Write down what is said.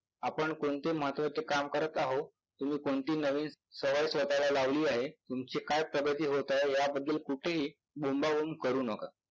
आपण कोणते महत्वाचे काम करत आहोत, तुम्ही कोणती नवीन सवय स्वतःला लावली आहे, तुमची काय प्रगती होत आहे याबद्दल कुठेही बोंबाबोंब करू नका.